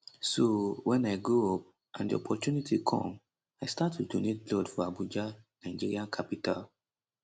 so wen i grow up and di opportunity come i start to donate blood for abuja nigeria capital